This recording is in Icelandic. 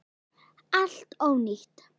Allt ónýtt!